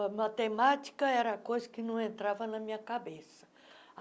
A matemática era a coisa que não entrava na minha cabeça.